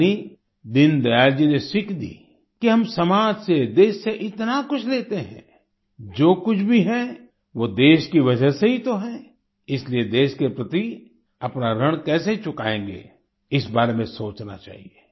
यानि दीन दयाल जी ने सीख दी कि हम समाज से देश से इतना कुछ लेते हैं जो कुछ भी है वो देश की वजह से ही तो है इसलिए देश के प्रति अपना ऋण कैसे चुकाएंगे इस बारे में सोचना चाहिए